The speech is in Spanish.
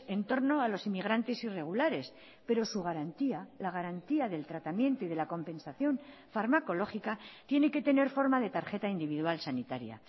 en torno a los inmigrantes irregulares pero su garantía la garantía del tratamiento y de la compensación farmacológica tiene que tener forma de tarjeta individual sanitaria